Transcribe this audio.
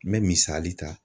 N bɛ misali ta.